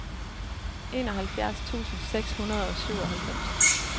enoghalvfjerds tusind seks hundrede og syvoghalvfems